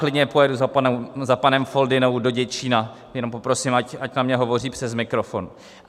Klidně pojedu za panem Foldynou do Děčína, jenom poprosím, ať na mě hovoří přes mikrofon.